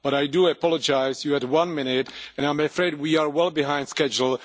But I do apologise, you had one minute and I am afraid we are well behind schedule.